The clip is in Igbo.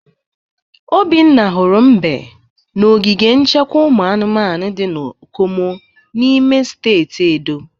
Obinna hụrụ mbe na ogige nchekwa ụmụ anụmanụ dị na Okomu n'ime steeti Edo.